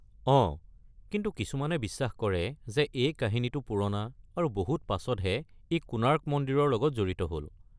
অঁ, কিন্তু কিছুমানে বিশ্বাস কৰে যে এই কাহিনীটো পুৰণা আৰু বহুত পাছতহে ই কোণাৰ্ক মন্দিৰৰ লগত জড়িত হ’ল।